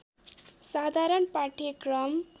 साधारण पाठ्यक्रम